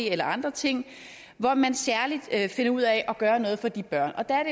eller andre ting hvor man særligt finder ud af at gøre noget for de børn og der er